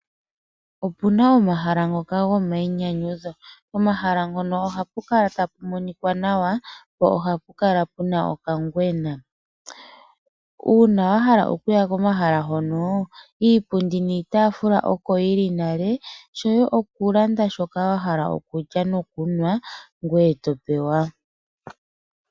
Opuna omahala ngoka goma inyanyudho. Pomahala mpono ohapu kala tapu monika nawa, po ohapu kala puna okangwena uuna wahala okuya komahala honoo, iipundi niitaafula oko yili nale shoye oku landa shoka wahala oku lya oku nwa ngwee to pewa.